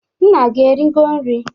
Nna gi erigo nri?